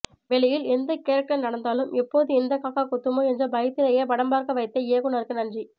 வெளியில் எந்த கேரக்டர் நடந்தாலும் எப்போது எந்த காக்கா கொத்துமோ என்ற பயத்திலேயே படம் பார்க்க வைத்த இயக்குனருக்கு நன்றி